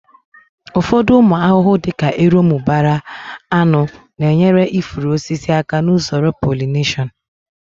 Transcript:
Ụfọdụ ụmụ ahụhụ dị ka erombụbara, aṅụ na-enyere ifuru osisi aka n'usoro polineshọn